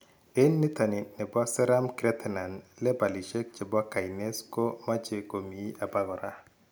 En nitani nebo serum creatine lebalishek chebo kinase ko mache ko mii abokora